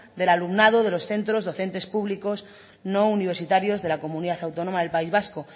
del alumnados de los centros docentes públicos no universitario de la comunidad autónoma del país vasco